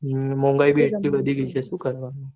હમ મોન્ઘય ભી એટલી વધી ગય છે સુ કરવાનું